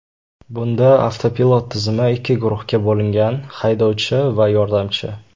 Bunda avtopilot tizimi ikki guruhga bo‘lingan haydovchi va yordamchi.